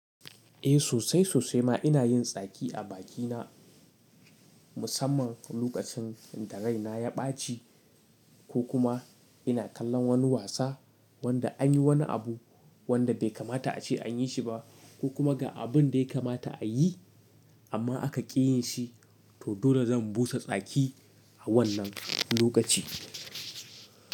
Eh sosai sosai ma ina yin tsaki a bakina musamman lokacin da raina ya ɓaci ko kuma ina kallon wani wasa wanda an yi wani abu wanda bai kamata a ce an yi shi ba ko kuma ga abun da ya kamata a yi amma aka ƙi yin shi to dole zan busa tsaki a wannan lokaci.